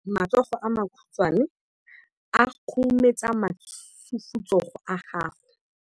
matsogo a makhutshwane a khurumetsa masufutsogo a gago